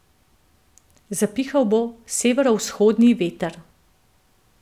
Zapihal bo severovzhodni veter.